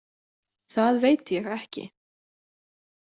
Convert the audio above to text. Það veit ég ekki.